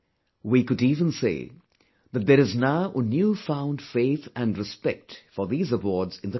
We could even say that there is now a new found faith and respect for these awards in the country